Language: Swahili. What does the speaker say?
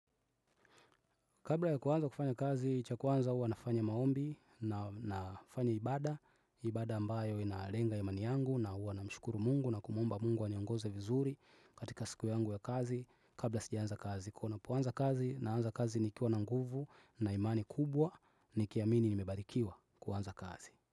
Kabla ya kuanza kufanya kazi, cha kwanza hua nafanya maombi na nafanya ibada, ibada ambayo inalenga imani yangu na hua namshukuru Mungu na kumuomba Mungu aniongoze vizuri katika siku yangu ya kazi kabla sijaanza kazi. Kuwa ninapoanza kazi naanza kazi nikiwa na nguvu na imani kubwa nikiamini nimebarikiwa kuanza kazi.